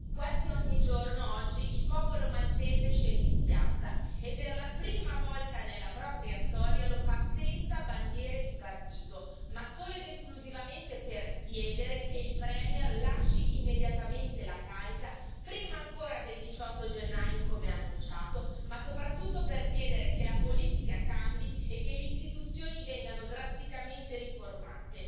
Quasi ogni giorno, oggi, il popolo maltese scende in piazza e per la prima volta nella propria storia, lo fa senza bandiere di partito, ma solo ed esclusivamente per chiedere che il premier lasci immediatamente la carica prima ancora del 18 gennaio come annunciato, ma soprattutto per chiedere che la politica cambi e che le istituzioni vengano drasticamente riformate.